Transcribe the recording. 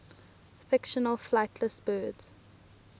fictional flightless birds